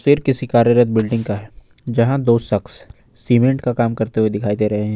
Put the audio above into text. फिर किसी कार्यरत बिल्डिंग का है जहां दो शख्स सीमेंट का काम करते हुए दिखाई दे रहे हैं।